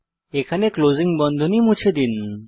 এখানে ক্লোজিং বন্ধনী মুছে দিন